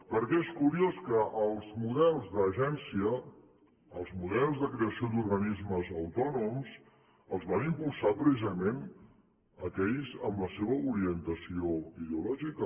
perquè és curiós que els models d’agència els models de creació d’organismes autònoms els van impulsar precisament aquells amb la seva orientació ideològica